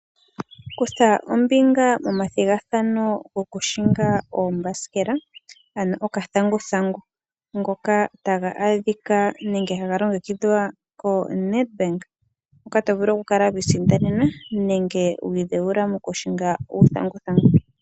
Kutha ombinga momathigathano lyo ku hinga oombasikela, ano okathanguthangu. Ngoka taga adhika nenge haga longekidhwa ko Nedbank ngoka to vulu oku kala wiisindanena nenge wiidhewula oku hinga uuthathangu.